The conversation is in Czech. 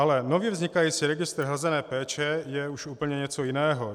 Ale nově vznikající registr hrazené péče je už úplně něco jiného.